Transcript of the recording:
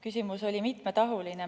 Küsimus oli mitmetahuline.